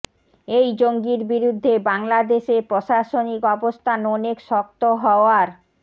এই জঙ্গির বিরুদ্ধে বাংলাদেশের প্রশাসনিক অবস্থান অনেক শক্ত হওয়ার